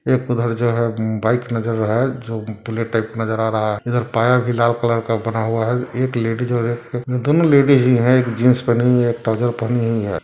एक घर जो है बाइक नजर है जो बुलेट टिक नजर आ रहा इधर पाया भी लाल कलर का बना हुआ है एक लेडिस जो है दोनों लडिस ही है एक जिन्स पहनी हुई है एक ट्राउज़र पहनी हुई है।